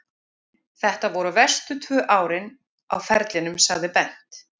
Þetta voru verstu tvö árin á ferlinum, sagði Bent.